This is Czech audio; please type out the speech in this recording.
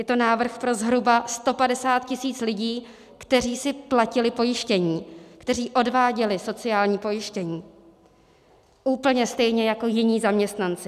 Je to návrh pro zhruba 150 tisíc lidí, kteří si platili pojištění, kteří odváděli sociální pojištění úplně stejně jako jiní zaměstnanci.